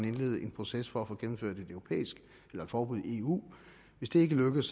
indlede en proces for at få gennemført et forbud i eu og hvis det ikke lykkes